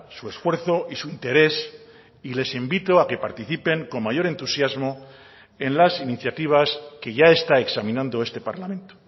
su esfuerzo y su interés y les invito a que participen con mayor entusiasmo en las iniciativas que ya está examinando este parlamento